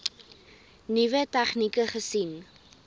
nuwe tegnieke gesien